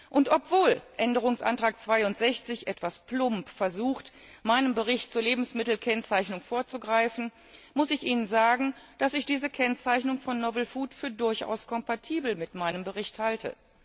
Und obwohl Änderungsantrag 62 etwas plump versucht, meinem Bericht zur Lebensmittelkennzeichnung vorzugreifen, muss ich Ihnen sagen, dass ich diese Kennzeichnung von neuartigen Lebensmitteln für durchaus kompatibel mit meinem Bericht halte.